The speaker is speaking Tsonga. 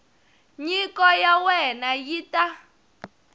nyiko ya wena yi ta